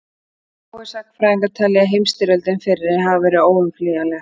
Fáir sagnfræðingar telja að heimsstyrjöldin fyrri hafi verið óumflýjanleg.